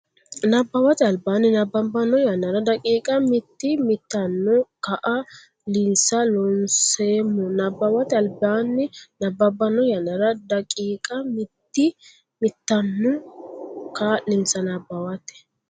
Nabbawate Albaanni nabbabbanno yannara daqiiqa mitii mitanno kaa linsa Loonseemmo Nabbawate Albaanni nabbabbanno yannara daqiiqa mitii mitanno kaa linsa Nabbawate.